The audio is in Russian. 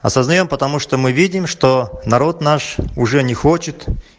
а создаём потому что мы видим что народ наш уже не хочет